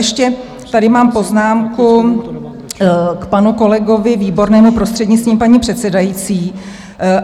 Ještě tady mám poznámku k panu kolegovi Výbornému, prostřednictvím paní předsedající.